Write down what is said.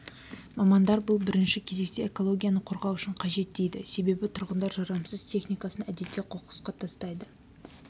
мамандар бұл бірінші кезекте экологияны қорғау үшін қажет дейді себебі тұрғындар жарамсыз техникасын әдетте қоқысқа тастайды